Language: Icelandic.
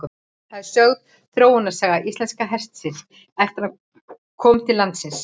Þar er sögð þróunarsaga íslenska hestinum eftir að hann kom til landsins.